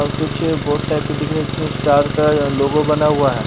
और कुछ boat type के दिख रहा है जिसमें स्टार का अह लोगो बना हुआ है।